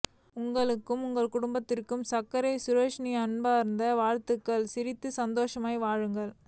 உங்களுக்கும் உங்கள் குடும்பத்துக்கும் சக்கரை சுரேஷின் அன்பார்ந்த வாழ்த்துகள் சிரித்து சந்தோசமாய் வாழுங்கள்